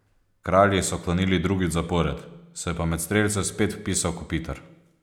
Kralji so klonili drugič zapored, se je pa med strelce spet vpisal Kopitar.